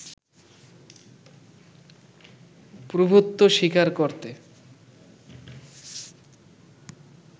প্রভূত্ব স্বীকার করতে